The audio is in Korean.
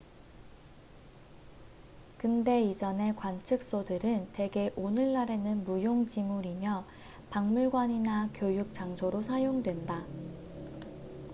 근대 이전의 관측소들은 대개 오늘날에는 무용지물이며 박물관이나 교육 장소로 사용된다